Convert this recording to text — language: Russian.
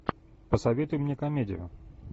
посоветуй мне комедию